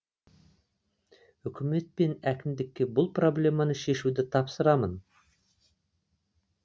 үкімет пен әкімдікке бұл проблеманы шешуді тапсырамын